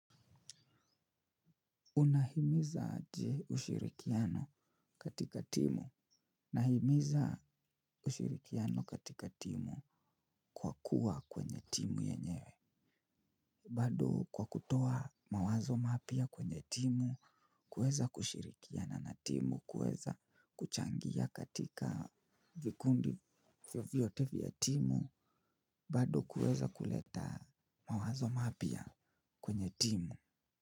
Unahimiza aje ushirikiano katika timu. Nahimiza ushirikiano katika timu kwa kuwa kwenye timu yenyewe. Bado kwa kutoa mawazo mapya kwenye timu, kuweza kushirikiana na timu, kuweza kuchangia katika vikundi vyovyote vya timu, bado kuweza kuleta mawazo mapya kwenye timu.